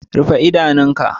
Rufe idanun ka!